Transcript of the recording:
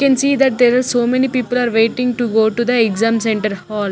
You can see that there are so many people are waiting to go to the exam centre hall.